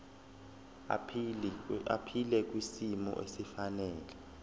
aphile kwisimo esifanele